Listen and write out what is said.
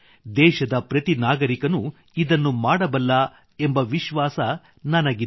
ದೇಶದ ಪ್ರತಿ ನಾಗರಿಕನೂ ಇದನ್ನು ಮಾಡಬಲ್ಲ ಎಂಬ ವಿಶ್ವಾಸ ನನಗಿದೆ